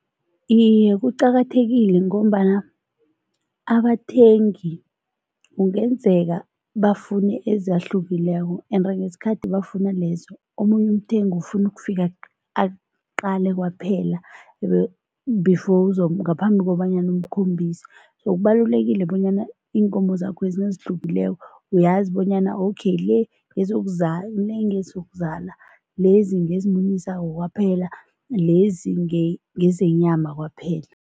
Iye, kuqakathekile ngombana abathengi kungenzeka bafune ezahlukileko ende ngesikhathi bafuna lezo, omunye umthengi ufuna ukufika aqale kwaphela before ngaphambi kobanyana umkhombise so kubalulekile bonyana iinkomo zakhwezi nazihlukileko uyazi bonyana okay le le ngezokuzala, lezi ngezimunyisako kwaphela, lezi ngezenyama kwaphela.